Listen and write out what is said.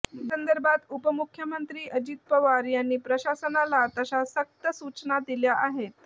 या संदर्भात उपमुख्यमंत्री अजित पवार यांनी प्रशासनाला तशा सक्त सूचना दिल्या आहेत